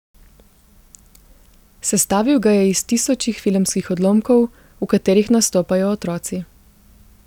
Sestavil ga je iz tisočih filmskih odlomkov, v katerih nastopajo otroci.